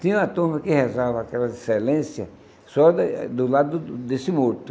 Tinha uma turma que rezava aquela excelência só da do lado desse morto.